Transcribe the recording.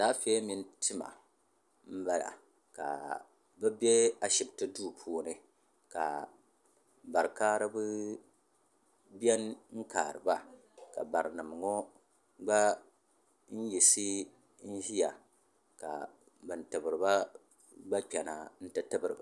Alaafee mini tima m bala ka bɛ be ashipti duu puuni ka barikaariba biɛni kaariba ka barinima ŋɔ gba n yiɣisi n ʒia ka ban tibirina gba kpena n ti tibiriba.